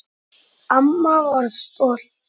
Amma var stolt.